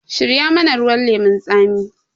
Shirya mana ruwan lemun tsami!